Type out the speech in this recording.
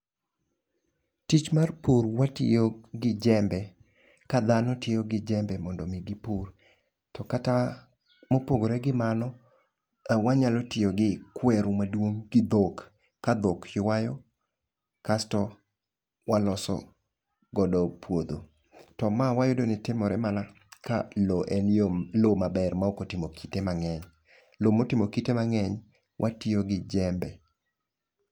Tich mar pur watiyo gi jembe, ka dhano tiyo gi jembe mondo mi gipur. Mopogore gi mano, wanyalo tiyo gi kweru maduong' gi dhok, ka dhok ywayo kasto waloso godo puodho. To ma wayudo ni timore mana ka lo en yo lo maber ma ok otimo kite mang'eny. Lo motimo kite mang'eny, watiyo gi jembe.